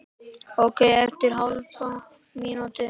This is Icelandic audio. Ókei eftir hálfa mínútu.